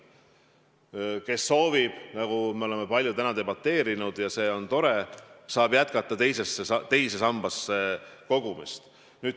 Kes soovib, nagu me oleme palju täna kinnitanud, saab jätkata teise sambasse kogumist.